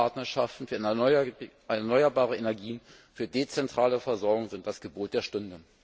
Echte Partnerschaften für erneuerbare Energie, für dezentrale Versorgung sind das Gebot der Stunde!